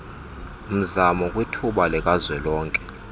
mzamo kwithuba likazwelonke